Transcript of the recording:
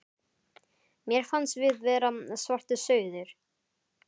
Mér fannst við vera svartir sauðir.